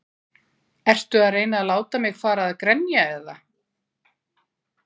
Ertu að reyna að láta mig fara að grenja eða?